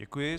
Děkuji.